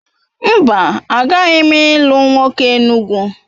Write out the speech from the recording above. Mba, agaghị m ilu nwoke Enugwu